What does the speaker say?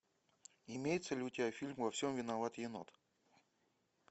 имеется ли у тебя фильм во всем виноват енот